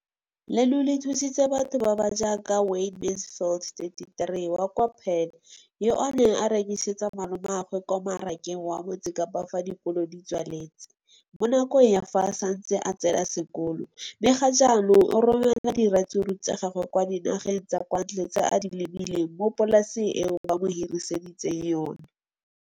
leno le thusitse batho ba ba jaaka Wayne Mansfield, 33, wa kwa Paarl, yo a neng a rekisetsa malomagwe kwa Marakeng wa Motsekapa fa dikolo di tswaletse, mo nakong ya fa a ne a santse a tsena sekolo, mme ga jaanong o romela diratsuru tsa gagwe kwa dinageng tsa kwa ntle tseo a di lemileng mo polaseng eo ba mo hiriseditseng yona.